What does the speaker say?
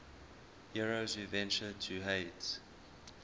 heroes who ventured to hades